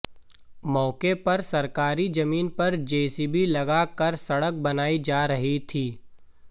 मौके पर सरकारी जमीन पर जेसीबी लगा कर सड़क बनाई जा रही थी